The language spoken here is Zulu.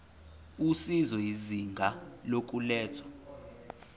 usizo izinga lokulethwa